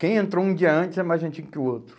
Quem entrou um dia antes é mais antigo que o outro.